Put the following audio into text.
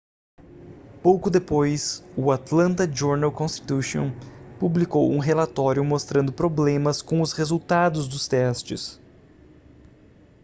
pouco depois o atlanta journal-constitution publicou um relatório mostrando problemas com os resultados dos testes